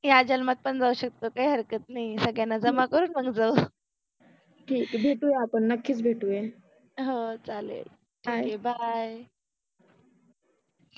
या जल्मात पन जाऊ शकतो काहि हरकत नाहि आहे भेटु आपन नक्किच भेटुये, हो चालेल, चालेल, बाय.